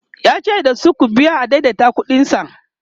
yace dasu "ku biya adaidaita ƙuɗin sa"